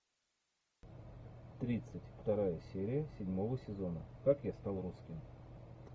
тридцать вторая серия седьмого сезона как я стал русским